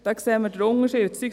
Da sehen wir den Unterschied.